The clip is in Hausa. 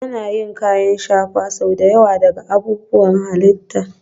Ana yin kayan shafa sau da yawa daga abubuwan halitta